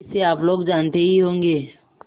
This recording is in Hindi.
इसे आप लोग जानते ही होंगे